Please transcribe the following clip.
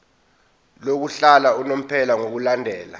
lokuhlala unomphela ngokulandela